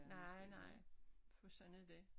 Nej nej for sådan er det